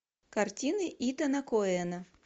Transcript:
картины итана коэна